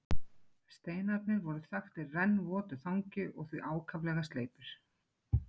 Steinarnir voru þaktir rennvotu þangi og því ákaflega sleipir.